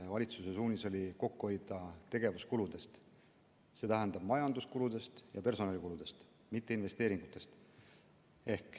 Valitsuse suunis oli kokku hoida tegevuskuludelt, st majanduskuludelt ja personalikuludelt, mitte investeeringutelt.